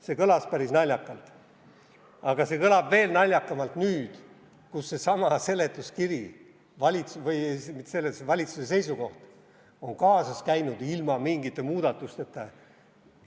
See kõlas päris naljakalt, aga see kõlab veel naljakamalt nüüd, kus seesama seletuskiri või mitte seletuskiri, vaid valitsuse seisukoht on kaasas käinud ilma mingite muudatusteta.